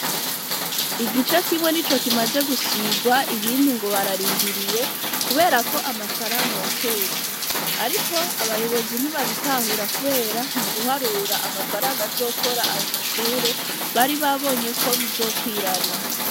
Igice kimwe nico kimaze gusigwa, ibindi ngo bararindiriye, kubera ko amafaranga yakeshe, ariko abayobozi ntibabitahura, kubera mu guharura amafaranga azokora ayo mashure bari babonye ko bizokwirana.